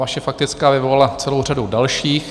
Vaše faktická vyvolala celou řadu dalších.